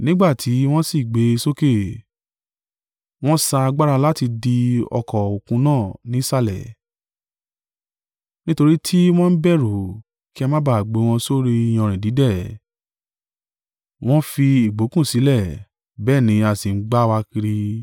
Nígbà tí wọ́n sì gbé e sókè, wọn sa agbára láti dí ọkọ̀-òkun náà nísàlẹ̀, nítorí tí wọ́n ń bẹ̀rù kí á máa ba à gbé wọn sórí iyanrìn dídẹ̀, wọn fi ìgbokùn sílẹ̀, bẹ́ẹ̀ ni a sì ń gbá wa kiri.